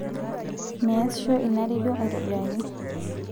meesisho ina rendio aitobiraki